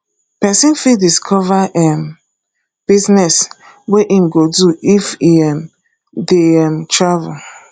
pesin fit discover um business wey im go do if e um dey um travel